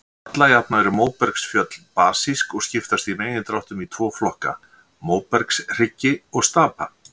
Alla jafna eru móbergsfjöll basísk og skiptast í megindráttum í tvo flokka, móbergshryggi og stapa.